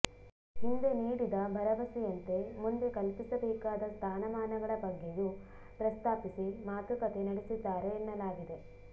ಹಿಂದೆ ನೀಡಿದ ಭರವಸೆ ಯಂತೆ ಮುಂದೆ ಕಲ್ಪಿಸಬೇಕಾದ ಸ್ಥಾನಮಾನಗಳ ಬಗ್ಗೆಯೂ ಪ್ರಸ್ತಾಪಿಸಿ ಮಾತುಕತೆ ನಡೆಸಿದ್ದಾರೆ ಎನ್ನಲಾಗಿದೆ